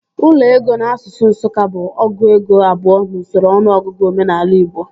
Ụlọ ego n'asụsụ Nsụka bụ ọgụ ego abụọ n'usoro ọnụọgụgụ omenaala igbo